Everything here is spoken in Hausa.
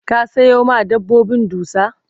ka Sayo ma dabbobin dusa?